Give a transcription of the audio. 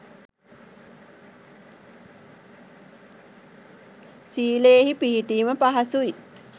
සීලයෙහි පිහිටීම පහසුයි.